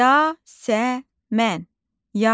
Yasəmən.